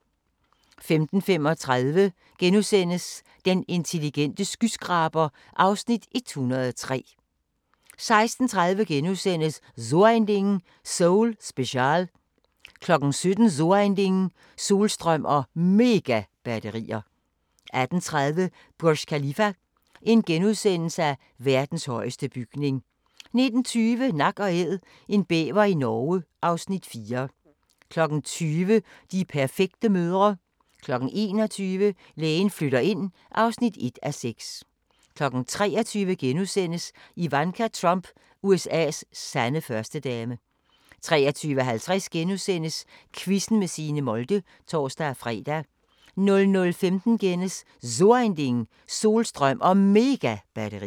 15:35: Den intelligente skyskraber (Afs. 103)* 16:30: So ein Ding: Seoul Special * 17:00: So ein Ding: Solstrøm og Megabatterier 18:30: Burj Khalifa: Verdens højeste bygning * 19:20: Nak & Æd – en bæver i Norge (Afs. 4) 20:00: De perfekte mødre 21:00: Lægen flytter ind (1:6) 23:00: Ivanka Trump – USA's sande førstedame * 23:50: Quizzen med Signe Molde *(tor-fre) 00:15: So ein Ding: Solstrøm og Megabatterier *